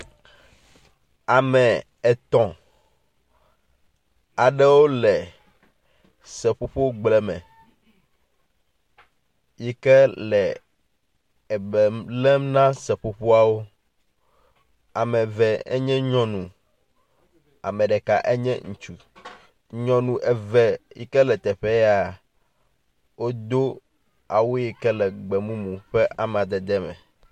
Ame etɔ̃ aɖewo le seƒoƒogble me yi ke le ebe lém na seƒoƒoawo. Ame eve nye nyɔnu, ame ɖeka enye ŋutsu. Nyɔnu eve yi ke le teƒe ya, wodo awu yi ke le gbemumu ƒe amadede me.